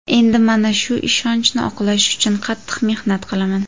Endi mana shu ishonchni oqlash uchun qattiq mehnat qilaman.